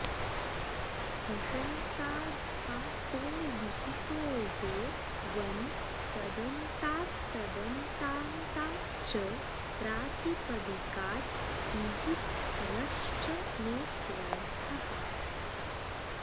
हशन्ताद्धातोर्विहितो यो वन् तदन्तात्तदन्तान्ताच्च प्रातिपदिकात् ङीप् रश्च नेत्यर्थः